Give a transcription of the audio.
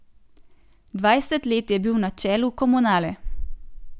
Dvajset let je bil na čelu Komunale.